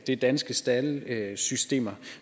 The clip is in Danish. er danske staldsystemer